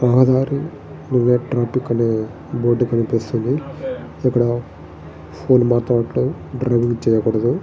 రహదారి అనే బోర్డు కనిపిస్తుంది. ఇక్కడ డ్రింక్ చేయకూడదు.